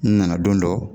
N nana don dɔ